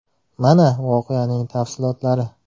Mana, voqeaning tafsilotlari.